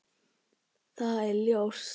Það er ljóst.